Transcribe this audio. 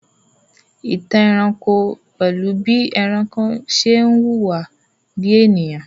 Ìtàn ẹranko pẹ̀lú bí ẹranko ṣe ń hùwà bí ènìyàn